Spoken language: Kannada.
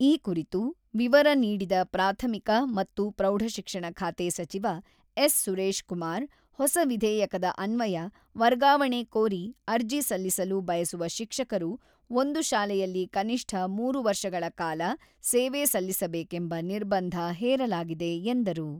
ಈ ಕುರಿತು ವಿವರ ನೀಡಿದ ಪ್ರಾಥಮಿಕ ಮತ್ತು ಪ್ರೌಢಶಿಕ್ಷಣ ಖಾತೆ ಸಚಿವ ಎಸ್.ಸುರೇಶ್ ಕುಮಾರ್, ಹೊಸ ವಿಧೇಯಕದ ಅನ್ವಯ ವರ್ಗಾವಣೆ ಕೋರಿ ಅರ್ಜಿ ಸಲ್ಲಿಸಲು ಬಯಸುವ ಶಿಕ್ಷಕರು ಒಂದು ಶಾಲೆಯಲ್ಲಿ ಕನಿಷ್ಠ ಮೂರು ವರ್ಷಗಳ ಕಾಲ ಸೇವೆ ಸಲ್ಲಿಸಬೇಕೆಂಬ ನಿರ್ಬಂಧ ಹೇರಲಾಗಿದೆ ಎಂದರು.